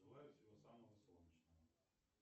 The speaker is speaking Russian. желаю всего самого солнечного